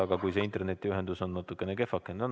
Aga kui internetiühendus on natukene kehvakene, siis ...